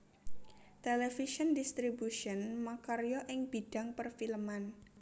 Television Distribution makarya ing bidhang perfilman